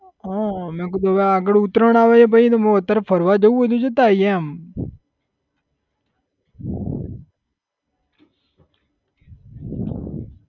હા મે કીધું હવે આગળ ઉતરાયણ આવે એ પછી હું કહું અત્યારે ફરવા જઉં હોય તો જતા આઇએ એમ